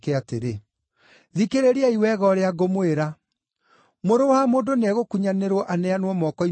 “Thikĩrĩriai wega ũrĩa ngũmwĩra: Mũrũ wa Mũndũ nĩegũkunyanĩrwo aneanwo moko-inĩ ma andũ.”